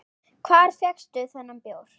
Hvar fékkstu þennan bjór?